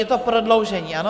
Je to prodloužení, ano?